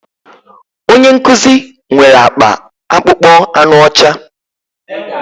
Onye nkuzi nwere akpa akpụkpọ anụ ọcha